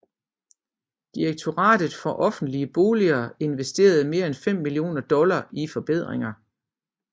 Direktoratet for offentlige boliger investerede mere end fem millioner dollar i forbedringer